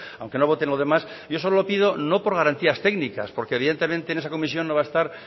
aunque no vote en lo demás yo solo le pido no por garantías técnicas porque evidentemente en esa comisión no va a estar